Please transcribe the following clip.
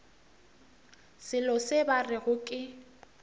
selo se ba rego ke